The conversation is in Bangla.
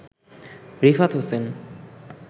রিফাত হোসেন